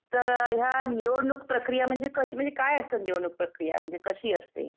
तर ह्या निवडणुक प्रक्रिया म्हणजे कसले काय असतात निवडणुक प्रक्रिया म्हणजे कशी असते?